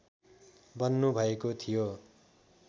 बन्नुभएको थियो